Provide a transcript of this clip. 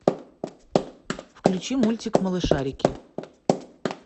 включи мультик малышарики